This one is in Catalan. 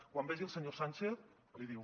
quan vegi el senyor sánchez l’hi diu